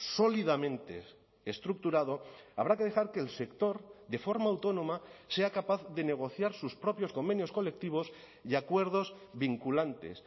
sólidamente estructurado habrá que dejar que el sector de forma autónoma sea capaz de negociar sus propios convenios colectivos y acuerdos vinculantes